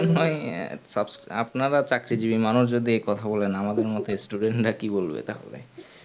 আপনারা চাকরি জিবি মানুষ যদি এই কথা বলেন আমাদের মতন student রা কি বলবে তাহলে